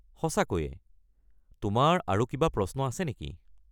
সঁচাকৈয়ে! তোমাৰ আৰু কিবা প্ৰশ্ন আছে নেকি?